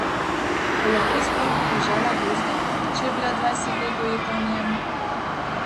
Bo lahko sploh ubežala Gozdu, če je bila dvajset let ujeta v njem?